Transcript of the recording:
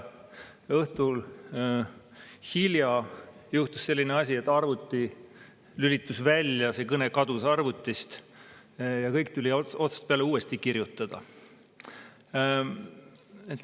Tookord juhtus õhtul hilja selline asi, et arvuti lülitus välja, see kõne kadus arvutist ja kõik tuli otsast peale uuesti kirjutada.